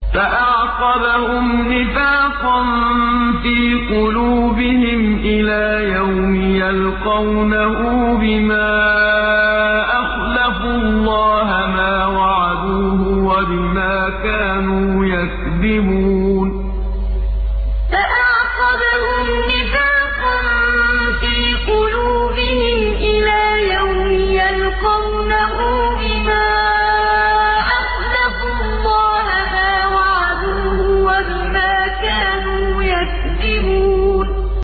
فَأَعْقَبَهُمْ نِفَاقًا فِي قُلُوبِهِمْ إِلَىٰ يَوْمِ يَلْقَوْنَهُ بِمَا أَخْلَفُوا اللَّهَ مَا وَعَدُوهُ وَبِمَا كَانُوا يَكْذِبُونَ فَأَعْقَبَهُمْ نِفَاقًا فِي قُلُوبِهِمْ إِلَىٰ يَوْمِ يَلْقَوْنَهُ بِمَا أَخْلَفُوا اللَّهَ مَا وَعَدُوهُ وَبِمَا كَانُوا يَكْذِبُونَ